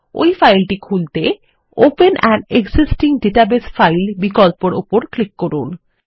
ওই ফাইলটি খুলতে open an existing database file বিকল্পের উপর ক্লিক করুন